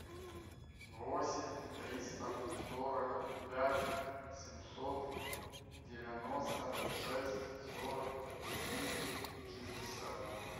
восемь триста сорок пять семьсот девяносто шесть сорок четыре шестьдесят